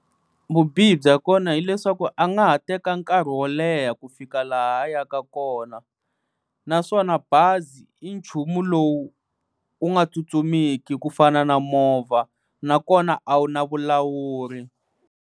Vubihi bya kona hileswaku a nga ha teka nkarhi wo leha ku fika laha a ya ka kona naswona bazi i nchumu lowu wu nga tsutsumiki ku fana na movha nakona a wu na vulawuri.